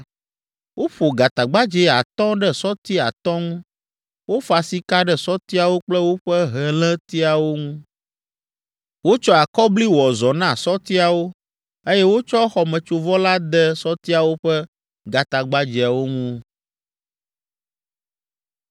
Woƒo gatagbadzɛ atɔ̃ ɖe sɔti atɔ̃ ŋu. Wofa sika ɖe sɔtiawo kple woƒe helétiawo ŋu. Wotsɔ akɔbli wɔ zɔ na sɔtiawo, eye wotsɔ xɔmetsovɔ la de sɔtiawo ƒe gatagbadzɛawo ŋu.